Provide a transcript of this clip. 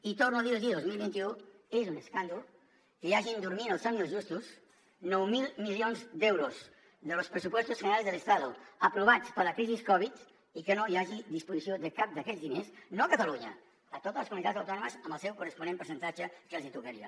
i torno a dir los ho dos mil vint u és un escàndol que hi hagin dormint el somni dels justos nou mil milions d’euros de los crisi covid i que no hi hagi disposició de cap d’aquests diners no a catalunya a totes les comunitats autònomes amb el seu corresponent percentatge que els hi tocaria